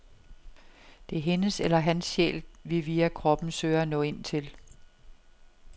Det er hendes eller hans sjæl, vi via kroppen søger at nå ind til.